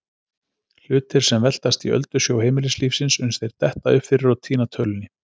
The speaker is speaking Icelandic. Hlutir sem veltast í öldusjó heimilislífsins uns þeir detta upp fyrir og týna tölunni.